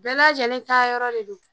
Bɛɛ lajɛlen ta yɔrɔ de don.